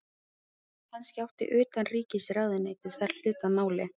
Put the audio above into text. Kannski átti utanríkisráðuneytið þar hlut að máli.